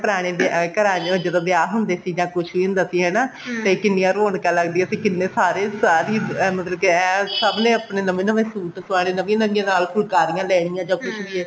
ਪਹਿਲਾਂ ਪੁਰਾਣੇ ਘਰਾਂ ਚੋ ਜਦੋਂ ਵਿਆਹ ਹੁੰਦੇ ਸੀ ਜਾ ਕੁੱਛ ਵੀ ਹੁੰਦਾ ਸੀ ਹਨਾ ਤੇ ਕਿੰਨੀਆ ਰੋਣਕਾ ਲੱਗਦੀਆਂ ਸੀ ਤੇ ਕਿੰਨੇ ਸਾਰੇ ਸਾਰੇ ਹੀ ਮਤਲਬ ਕਿ ਐਨ ਸਭਨੇ ਆਪਣੇ ਨਵੇਂ ਨਵੇਂ suit ਸਵਾਨੇ ਨਵੀਆਂ ਨਵੀਆਂ ਨਾਲ ਫੁਲਾਕਰੀ ਲੈਣੀਆ ਜਾ ਕੁੱਛ ਵੀ ਐ